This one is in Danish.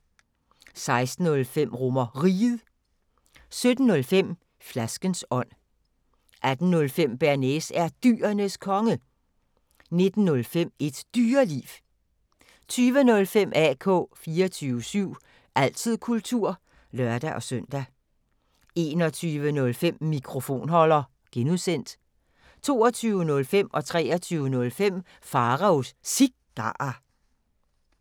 16:05: RomerRiget 17:05: Flaskens ånd 18:05: Bearnaise er Dyrenes Konge 19:05: Et Dyreliv 20:05: AK 24syv – altid kultur (lør-søn) 21:05: Mikrofonholder (G) 22:05: Pharaos Cigarer 23:05: Pharaos Cigarer